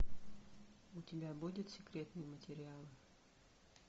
у тебя будет секретные материалы